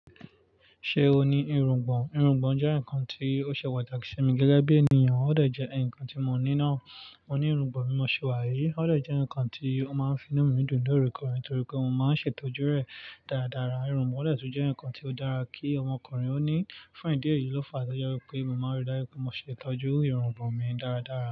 Ṣé o ní irungbọ̀n? Irungbọ̀n jẹ́ ǹkan tí ó ṣe pàtàkì sí mi gẹ́gẹ́ bí ènìyàn, ó dàjẹ́ ǹkan tí mo ní náà. Mo ní irungbọ̀n bí mọ̀ ṣe wà yìí, ó dè jẹ́ ǹkan tí ó máa ń fi inú mi dùn lóòrèkoore, torí pé mo máa ń ṣètọ́jú rẹ̀ dáradára. Irungbọ̀n dè tún jẹ́ ǹkan tí ó dára kí ọmọkùnrin ó ní. Fún ìdí èyí ló fàá tó jẹ wí pé mo máa ń rí dájú pé mo ṣètọ́jú irungbọ̀n mi dáradára.